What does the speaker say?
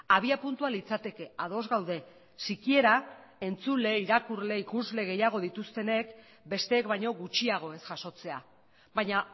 abiapuntua litzateke ados gaude sikiera entzule irakurle ikusle gehiago dituztenek besteek baino gutxiago ez jasotzea baina